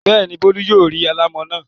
Bẹ́ẹ̀ ni, Bólú yóò rí alámọ̀ náà.